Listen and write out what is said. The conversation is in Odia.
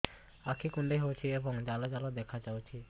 ଆଖି କୁଣ୍ଡେଇ ହେଉଛି ଏବଂ ଜାଲ ଜାଲ ଦେଖାଯାଉଛି